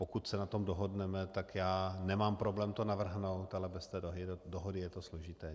Pokud se na tom dohodneme, tak já nemám problém to navrhnout, ale bez té dohody je to složité.